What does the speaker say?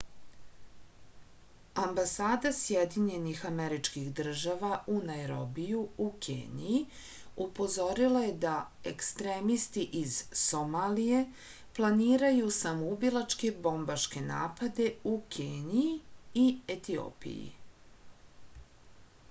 ambasada sjedinjenih američkih država u najrobiju u keniji upozorila je da ekstremisti iz somalije planiraju samoubilačke bombaške napade u keniji i etiopiji